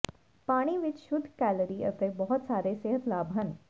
ਪਾਣੀ ਵਿੱਚ ਸ਼ੁੱਧ ਕੈਲੋਰੀ ਅਤੇ ਬਹੁਤ ਸਾਰੇ ਸਿਹਤ ਲਾਭ ਹਨ